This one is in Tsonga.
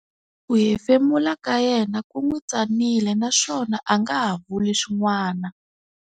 Ku hefemula ka yena ku n'wi tsanile naswona a nga ha vuli swin'wana.